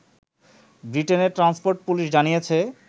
ব্রিটেনের transport police জানিয়েছে